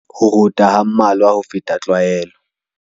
Ho rota ha mmalwa ho feta tlwaelo.